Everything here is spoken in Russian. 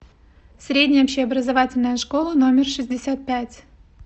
средняя общеобразовательная школа номер шестьдесят пять